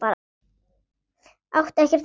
Átti ekkert annað.